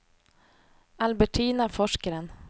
Albertina Forsgren